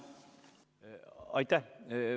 Aitäh!